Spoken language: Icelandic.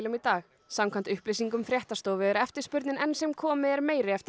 í dag samkvæmt upplýsingum fréttastofu er eftirspurnin enn sem komið er meiri eftir